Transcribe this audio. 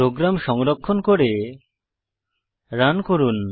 programme সংরক্ষণ করে run করুন